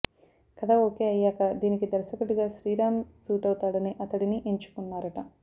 కథ ఓకే అయ్యాక దీనికి దర్శకుడిగా శ్రీరామ్ సూటవుతాడని అతడిని ఎంచుకున్నారట